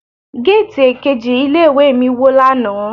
Géètì èkejì ilé ìwé mi wó lánàá.